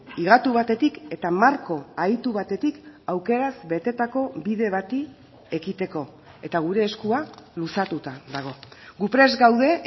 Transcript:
higatu batetik eta marko ahitu batetik aukeraz betetako bide bati ekiteko eta gure eskua luzatuta dago gu prest gaude